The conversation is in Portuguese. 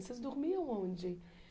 Vocês dormiam onde?